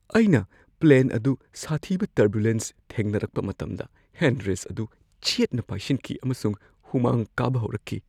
ꯑꯩꯅ ꯄ꯭ꯂꯦꯟ ꯑꯗꯨ ꯁꯥꯊꯤꯕ ꯇꯔꯕꯨꯂꯦꯟꯁ ꯊꯦꯡꯅꯔꯛꯄ ꯃꯇꯝꯗ ꯍꯦꯟ ꯔꯦꯁ꯭ꯠ ꯑꯗꯨ ꯆꯦꯠꯅ ꯄꯥꯏꯁꯤꯟꯈꯤ ꯑꯃꯁꯨꯡ ꯍꯨꯃꯥꯡ ꯀꯥꯕ ꯍꯧꯔꯛꯈꯤ꯫